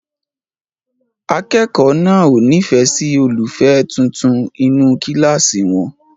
Akẹ́kọ̀ọ́ náà ò nífẹ̀ẹ́ sí olólùfẹ́ tuntun inú kíláàsì wọn.